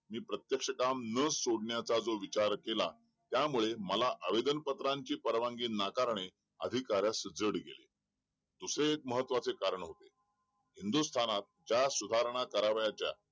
मी प्रत्येक्ष काम न सोडण्याचा विचार जो केला त्यामुळे मला आवेदनपात्राची परवानगी नाकारणे अधिकाऱ्यास अवघड गेले दुसरे एक महत्त्वाचे कारण होते हिंदुस्थानातं ज्या सुधारणा करावयाच्या